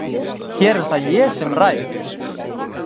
Hér er það ég sem ræð!